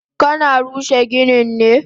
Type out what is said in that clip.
Kana rushe ginin ne?